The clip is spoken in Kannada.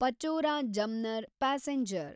ಪಚೋರಾ ಜಮ್ನರ್ ಪ್ಯಾಸೆಂಜರ್